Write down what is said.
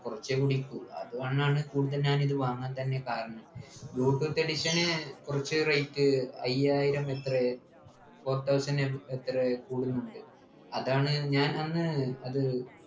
കുറച്ചേ കുടിക്കു അത്കൊണ്ടാണ് കൂടുതൽ ഞാൻ ഇത് വാങ്ങാൻ തന്നെ കാരണം bluetooth edition ന് കുറച്ച് rate അയ്യായിരം എത്രയാ four thousand എത്രയോ കൂടുന്നുണ്ട് അതാണ് ഞാൻ അന്ന് അത്